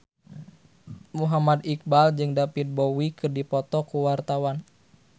Muhammad Iqbal jeung David Bowie keur dipoto ku wartawan